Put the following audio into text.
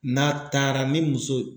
N'a taara ni muso